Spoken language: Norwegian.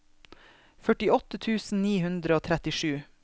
førtiåtte tusen ni hundre og trettisju